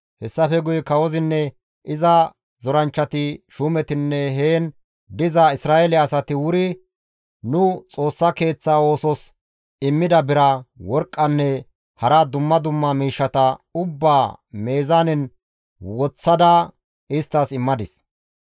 Hessafe guye kawozinne iza zoranchchati, Shuumetinne heen diza Isra7eele asati wuri nu Xoossa Keeththa oosos immida bira, worqqanne hara dumma dumma miishshata ubbaa meezaanen woththada isttas immadis.